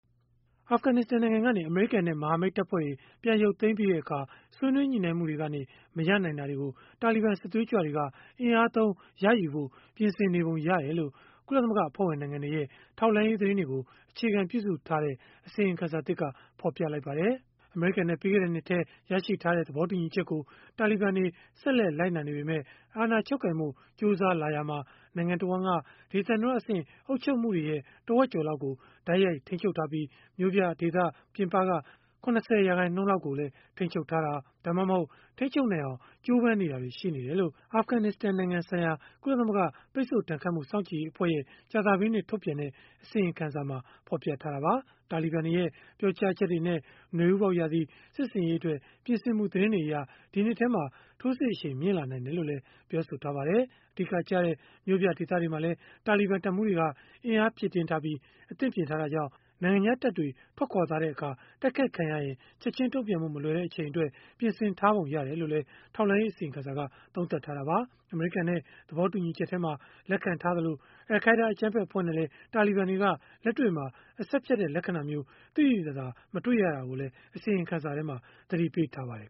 အာဖဂနစ္စတန်နိုင်ငံကနေ အမေရိကန်နဲ့ မဟာမိတ်တပ်ဖွဲ့တွေ ပြန်ရုပ်သိမ်းပြီးတဲ့အခါ ဆွေးနွေးညှိနှိုင်းမှုကနေ မရနိုင်တာတွေကို တာလီဘန် စစ်သွေးကြွတွေက အင်အားသုံး ရယူဖို့ ပြင်ဆင်နေပုံရတယ်လို့ ကုလသမဂ္ဂ အဖွဲ့ဝင်နိုင်ငံတွေရဲ့ ထောက်လှမ်းရေး သတင်းတွေကို အခြေခံ ပြုစုထားတဲ့ အစီရင်ခံစာသစ်က ဖော်ပြလိုက်ပါတယ်။ အမေရိကန်နဲ့ ပြီးခဲ့တဲ့နှစ်ထဲ ရရှိထားတဲ့ သဘောတူညီချက်ကို တာလီဘန်တွေ ဆက်လက် လိုက်နာနေပေမဲ့ အာဏာချုပ်ကိုင်ဖို့ ကြိုးစားလာရာမှာ နိုင်ငံတဝန်းက ဒေသန္တရအဆင့် အုပ်ချုပ်မှုတွေရဲ့ တဝက်ကျော်လောက်ကို တိုက်ရိုက်ထိမ်းချုပ်ထားပြီး၊ မြို့ပြဒေသ ပြင်ပနယ်မြေ ၇၀ ရာခိုင်နှုန်းလောက်ကိုလည်း ထိန်းချုပ်ထားတာ၊ ဒါမှမဟုတ် ထိန်းချုပ်နိုင်အောင် ကြိုးပမ်းနေတယ်လို့လည်း အာဖဂနစ္စတန်နိုင်ငံဆိုင်ရာ ကုလသမဂ္ဂရဲ့ ပိတ်ဆို့ဒဏ်ခတ်မှု စောင့်ကြည့်ရေးအဖွဲ့ရဲ့ ကြာသပတေးနေ့ ထုတ်ပြန်တဲ့ အစီရင်ခံစာမှာ ဖော်ပြခဲ့တာပါ။ တာလီဘန်တွေရဲ့ ပြောကြားချက်တွေနဲ့ နွေဦးပေါက်ရာသီ စစ်ဆင်ရေးအတွက် ပြင်ဆင်မှု သတင်းတွေအရ ဒီနှစ်ထဲမှာ ထိုးစစ်အရှိန်မြင့်လာနိုင်တယ်လို့လည်း ပြောပါတယ်။ အဓိကကျတဲ့ မြို့ပြတွေမှာလည်း တာလီဘန် တပ်မှူးတွေက အင်အားဖြည့်တင်းထားပြီး အသင့်ပြင်ထားတာကြောင့်၊ နိုင်ငံခြားတပ်တွေ ထွက်ခွာသွားတဲ့အခါ တိုက်ခိုက်ခံရရင် ချက်ခြင်းတုံ့ပြန်ဖို့ မလွယ်တဲ့ အချိန်အတွက် ပြင်ဆင်ထားပုံရတယ်လို့လည်း ထောက်လှမ်းရေး အစီရင်ခံစာက သုံးသပ်ထားတာပါ။ အမေရိကန်နဲ့ သဘောတူညီချက်မှာ လက်ခံထားသလို အယ်လ်ခိုင်းဒါး အကြမ်းဖက် အဖွဲ့နဲ့လည်း တာလီဘန်တွေက အဆက်ဖြတ်တဲ့ လက္ခဏာမျိုး သိသိသာသာ မတွေ့ရတာကိုလည်း အစီရင်ခံစာမှာ သတိပေးထားပါတယ်